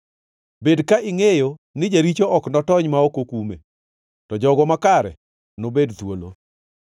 Bed ka ingʼeyo ni jaricho ok notony ma ok okume, to jogo makare nobed thuolo.